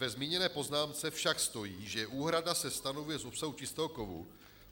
Ve zmíněné poznámce však stojí, že úhrada se stanovuje z obsahu čistého kovu.